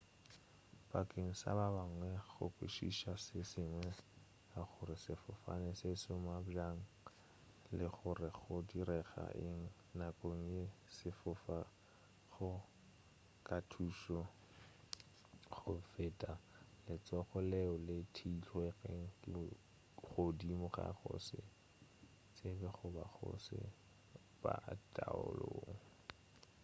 bakeng sa ba bangwe go kwešiša se sengwe ka gore sefofane se šoma bjang le gore go direga eng nakong ya ge se fofa go ka thuša go feta letšhogo leo le theilwego godimo ga go se tsebe goba go se be taolong